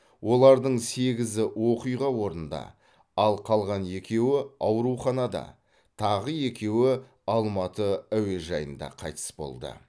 олардың сегізі оқиға орнында ал қалған екеуі ауруханада тағы екеуі алматы әуежайында қайтыс болды